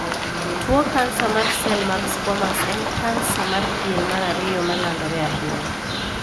Tuo kansa mar sel mag squamous en kansa mar pien mar ariyo ma landore ahinya.